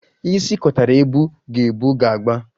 Isi kotara ebu ka ebu ga-agba